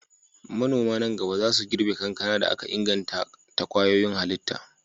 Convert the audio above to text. Manoma nan gaba za su girbe kankana da aka inganta ta kwayoyin halitta.